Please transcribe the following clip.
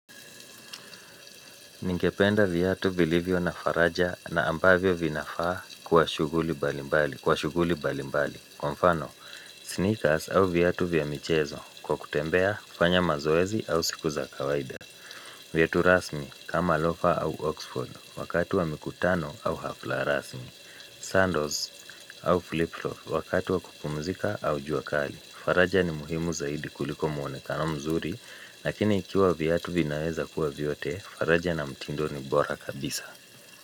Ningependa viatu vilivyo na faraja na ambavyo vinafaa kwa shughuli mbalimbali. Kwa mfano, sneakers au viatu vya michezo kwa kutembea, kufanya mazoezi au siku za kawaida. Viatu rasmi kama lofa au oxford wakati wa mikutano au hafla rasmi. Sandals au flipflop wakati wa kupumzika au jua kali. Faraja ni muhimu zaidi kuliko muonekano mzuri, lakini ikiwa viatu vinaweza kuwa vyote, faraja na mtindo ni bora kabisa.